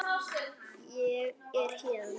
Ég er héðan